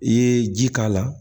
I ye ji k'a la